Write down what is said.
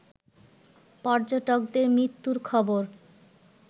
পর্যটকদের মৃত্যুর খবর